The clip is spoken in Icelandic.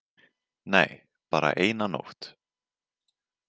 Nei, bara eina nótt.